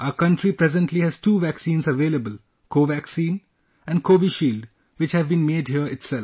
Our country presently has two vaccines available Covaccine and Covishield which have been made here itself